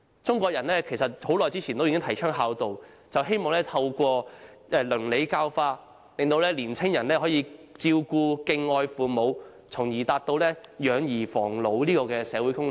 中國人很久以前已提倡孝道，就是希望透過倫理教化，令年青人可以照顧和敬愛父母，從而達到養兒防老的社會功能。